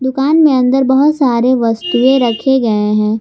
दुकान में अंदर बहुत सारे वस्तुएं रखे गए हैं।